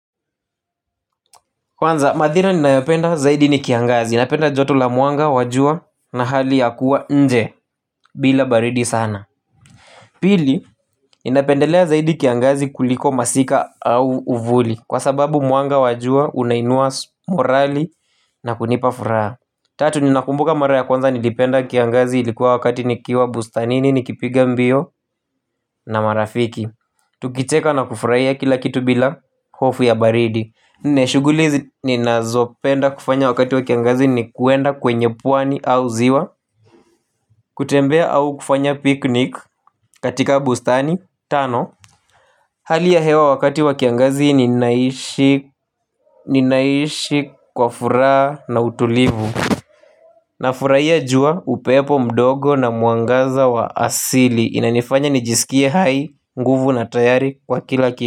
Kwanza madhina ninayopenda zaidi ni kiangazi, ninapenda joto la mwanga wa jua na hali ya kuwa nje bila baridi sana. Pili, ninapendelea zaidi kiangazi kuliko masika au uvuli kwa sababu mwanga wa jua unainua morali na kunipafuraha. Tatu, ninakumbuka mara ya kwanza nilipenda kiangazi ilikuwa wakati nikiwa bustanini, nikipiga mbio na marafiki. Tukicheka na kufuraia kila kitu bila hofu ya baridi na shuguli ni nazopenda kufanya wakati wakiangazi ni kuenda kwenye pwani au ziwa. Kutembea au kufanya piknik katika bustani. Tano hali ya hewa wakati wakiangazi ni naishi kwa furaha na utulivu. Na furaia jua upepo mdogo na mwangaza wa asili inanifanya nijisikie hai nguvu na tayari kwa kila kitu.